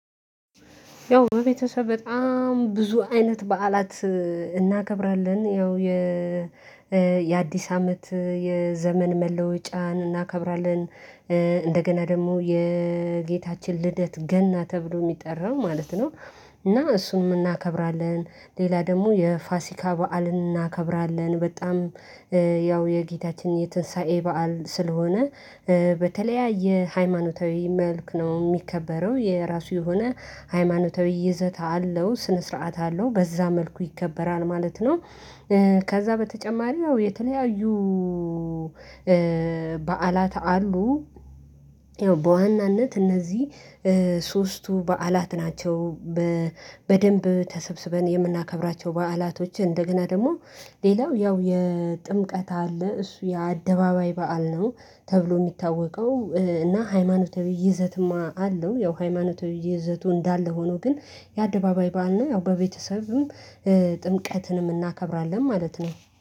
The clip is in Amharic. ያው ቤተሰብ በጣም ብዙ አይነት በዓላት እናገብራለን ያው የ አመት የዘመን መለወጫን እናከብራለን። እንደገና ደግሞ የጌታችን ልደት ገና ተብሎ የሚጠራው ማለት ነው። እና እሱንም እናከብራለን ሌላ ደግሞ የፋሲካ በዓል እናከብራለን በጣም ያው የጌታችን የትንሳኤ በዓል ስለሆነ በተለያየ ሃይማኖታዊ መልክ ነው የሚከበረው የራሱ የሆነ ሃይማኖታዊ ይዘት አለው ስነ ስርዓት አለው በዛ መልኩ ይከበራል ማለት ነው። ከዛ በተጨማሪ ያው የተለያዩ በዓላት አሉ። ያው በዋናነት እነዚህ ሶስቱ በዓላት ናቸው። በደንብ ተሰብስበን የምናከብራቸው በዓላቶች እንደገና ደግሞ ሌላው ያው የጥምቀት አለ እሱ የአደባባይ በዓል ነው። ተብሎ የሚታወቀው እና ሃይማኖት የይዘትማ አለው ያው ሃይማኖት የይዘቱ እንዳለ ሆኖ ግን የአደባባይ ባልና የአውባ ቤተሰብም ጥምቀትንም እናከብራለን ማለት ነው